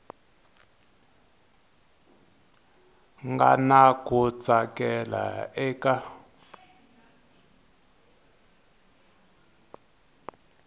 nga na ku tsakela eka